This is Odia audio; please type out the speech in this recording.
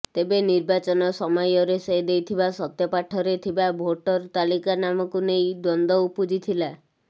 ତେବେ ନିର୍ବାଚନ ସମୟରେ ସେ ଦେଇଥିବା ସତ୍ଯପାଠ ରେ ଥିବା ଭୋଟର ତାଲିକା ନାମକୁ ନେଇ ଦ୍ବନ୍ଦ ଉପୁଜିଥିଲା